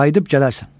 Qayıdıb gələrsən.